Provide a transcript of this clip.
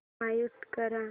mute कर